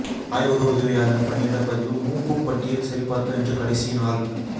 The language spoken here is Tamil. ஆய்வக உதவியாளா் பணியிட பதிவு மூப்புபட்டியல் சரிபாா்க்க இன்று கடைசி நாள்